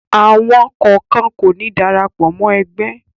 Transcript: Àwọn kọ̀ọ̀kan kò ní darapọ̀ mọ́ ẹgbẹ́.